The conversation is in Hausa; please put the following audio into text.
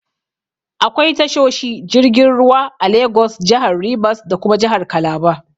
Akwai tashoshi jirgin ruwa a Lagos, jahar Rivers da kuma jahar Calabar